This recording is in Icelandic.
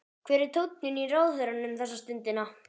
Hver er tónninn í ráðherranum þessa stundina?